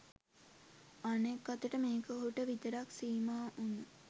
අනෙක් අතට මේක ඔහුට විතරක් සීමා වුන